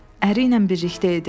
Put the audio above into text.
Əri ilə birlikdə idi.